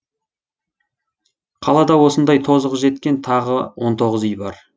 қалада осындай тозығы жеткен тағы он тоғыз үй бар